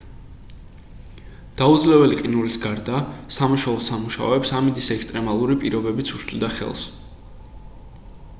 დაუძლეველი ყინულის გარდა სამაშველო სამუშაოებს ამინდის ექსტრემალური პირობებიც უშლიდა ხელს